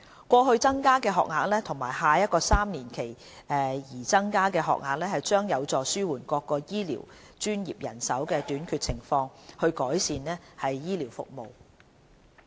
過去增加的學額和下一個3年期擬增的學額將有助紓緩各醫療專業的人手短缺情況，以改善醫療服務。